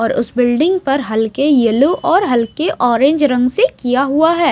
और उस बिल्डिंग पर हल्के येलो और हल्के ऑरेंज रंग से किया हुआ है।